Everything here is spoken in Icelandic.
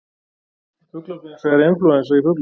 Fuglaflensa er inflúensa í fuglum.